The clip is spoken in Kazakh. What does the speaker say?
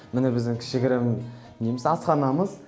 міне біздің кішігірім неміз асханамыз